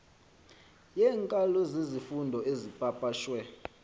yeenkalo zezifundo ezipapashwe